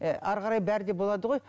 ы әрі қарай бәрі де болады ғой